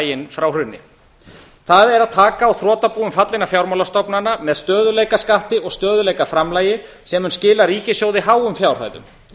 lokaslaginn frá hruni það er að taka á þrotabúum fallinna fjármálastofnana með stöðugleikaskatti og stöðugleikaframlagi sem mun skila ríkissjóði háum fjárhæðum